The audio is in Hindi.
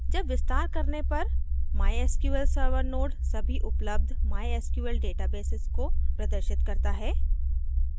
जब विस्तार करने पर mysql server node सभी उपलब्ध mysql databases को प्रदर्शित करता है